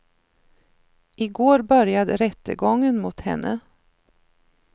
I går började rättegången mot henne.